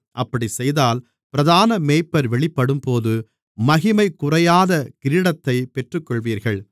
அப்படி செய்தால் பிரதான மேய்ப்பர் வெளிப்படும்போது மகிமை குறையாத கிரீடத்தைப் பெற்றுக்கொள்வீர்கள்